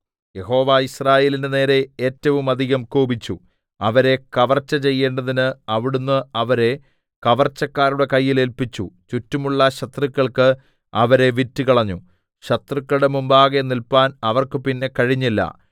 യഹോവ യിസ്രായേലിന്റെ നേരെ ഏറ്റവുമധികം കോപിച്ചു അവരെ കവർച്ചചെയ്യേണ്ടതിന് അവിടുന്ന് അവരെ കവർച്ചക്കാരുടെ കയ്യിൽ ഏല്പിച്ചു ചുറ്റുമുള്ള ശത്രുക്കൾക്കു അവരെ വിറ്റുകളഞ്ഞു ശത്രുക്കളുടെ മുമ്പാകെ നില്പാൻ അവർക്ക് പിന്നെ കഴിഞ്ഞില്ല